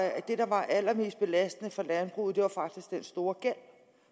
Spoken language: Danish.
at det der var allermest belastende for landbruget faktisk var den store gæld